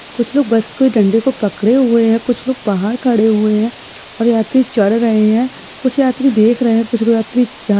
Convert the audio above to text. कुछ लोग बस को डंडे को पकड़े हुए हैं। कुछ लोग बाहर खड़े हुए हैं और यात्री चढ़ रहे हैं। कुछ यात्री देख रहे हैं। कुछ यात्री जा --